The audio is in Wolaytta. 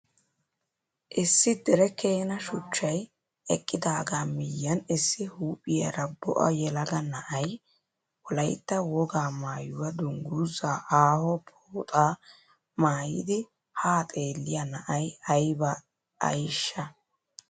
Issi dere keena shuchchay eqqidaaga miyiyan issi huuphphiyara bo'a yelaga na'ay Wolaitta wogaa maayuwaa dungguzzaa aaho pooxaa maayidi haa xeelliya na'ay ayba ayiishsha.